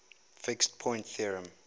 fixed point theorem